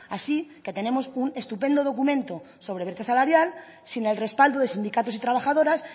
así que tenemos un estupendo documento sobre brecha salarial sin el respaldo de sindicatos y trabajadoras